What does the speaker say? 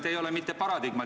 Te ei ole paradigma.